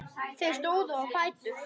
Þau stóðu á fætur.